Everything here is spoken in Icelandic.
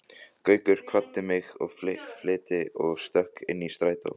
Gaukur kvaddi mig í flýti og stökk inn í strætó.